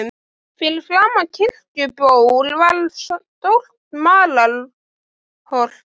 Hann kann semsagt enn klisjurnar í bransanum?